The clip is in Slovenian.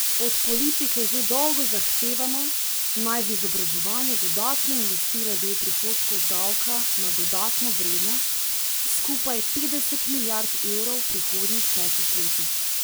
Od politike že dolgo zahtevamo, naj v izobraževanje dodatno investira del prihodkov od davka na dodano vrednost, skupaj petdeset milijard evrov v prihodnjih petih letih.